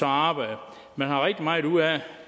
arbejder man har rigtig meget ud af